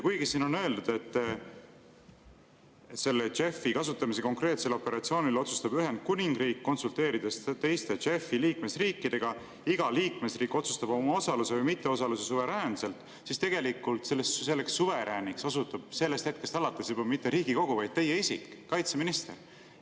Kuigi siin on öeldud, et selle JEF‑i kasutamise konkreetsel operatsioonil otsustab Ühendkuningriik, konsulteerides teiste JEF‑i liikmesriikidega, iga liikmesriik otsustab oma osaluse või mitteosaluse suveräänselt, siis tegelikult selleks suverääniks osutub sellest hetkest alates mitte enam Riigikogu, vaid teie isik, kaitseminister.